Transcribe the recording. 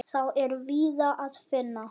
Þá er víða að finna.